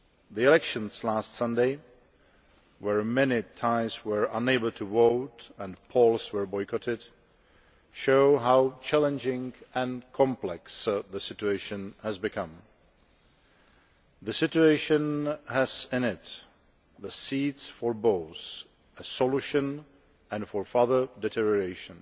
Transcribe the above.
The elections last Sunday, where many Thais were unable to vote and polls were boycotted, show how challenging and complex the situation has become. The situation has in it the seeds both for a solution and for further deterioration.